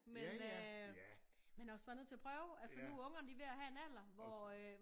Men øh man er også bare nødt til at prøve altså nu er ungerne de er ved at have en alder hvor øh